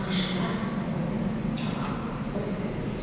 Qarşıda onu Kənan ov gözləyirdi.